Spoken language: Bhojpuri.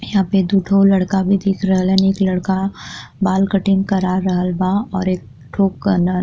यहाँँ पे दू ठो लड़का भी दिख रहल हन। एक लड़का बाल कटिंग करा रहल बा और एक ठो कन --